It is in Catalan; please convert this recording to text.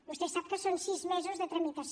vostè sap que són sis mesos de tramitació